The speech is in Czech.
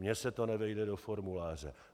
Mně se to nevejde do formuláře.